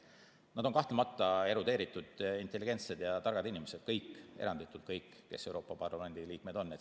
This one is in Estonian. Nad on kahtlemata erudeeritud, intelligentsed ja targad inimesed kõik, eranditult kõik, kes Euroopa Parlamendi liikmed on.